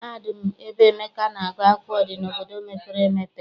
Mahadum ebe Emeka na-agụ akwụkwọ dị n'obodo mepere emepe.